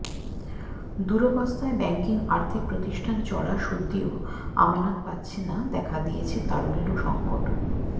দুরবস্থায় banking আর্থিক প্রতিষ্ঠান চড়া সুদ দিয়েও আমানত পাচ্ছে না দেখা দিয়েছে তারল্য সংকট